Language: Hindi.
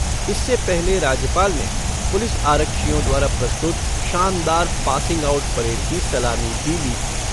इससे पहले राज्यपाल ने पुलिस आरक्षियों द्वारा प्रस्तुत शानदार पासिंग आउट परेड की सलामी भी ली।